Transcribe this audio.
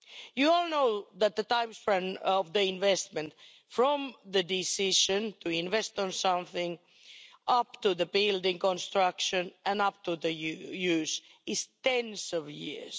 You all know that the time span of the investment from the decision to invest on something, up to the building construction and up to the use, is tens of years.